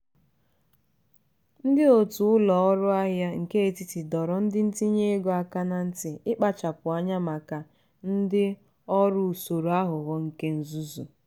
ndị otu ụlọ ọrụ ahịa nke etiti doro ndị ntinye ego aka na nti ikpachapụ anya maka ndị ọrụ usoro aghụghọ nke nzuzu.